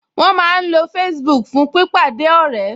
Wọ́n máa ń lo Facebook fún pípàdé ọ̀rẹ́